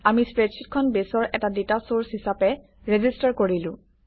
আমি স্প্ৰেডশ্বিটখন বেছৰ এটা ডাটা চৰ্চ হিচাপে ৰেজিষ্টাৰ কৰিলো